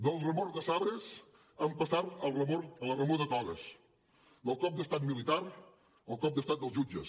de la remor de sabres hem passat a la remor de togues del cop d’estat militar al cop d’estat dels jutges